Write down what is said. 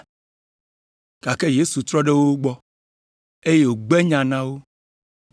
Gake Yesu trɔ ɖe wo gbɔ, eye wògbe nya na wo.